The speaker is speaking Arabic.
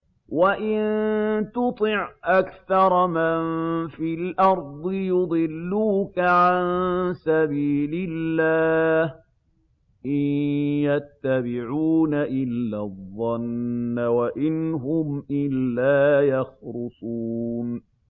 وَإِن تُطِعْ أَكْثَرَ مَن فِي الْأَرْضِ يُضِلُّوكَ عَن سَبِيلِ اللَّهِ ۚ إِن يَتَّبِعُونَ إِلَّا الظَّنَّ وَإِنْ هُمْ إِلَّا يَخْرُصُونَ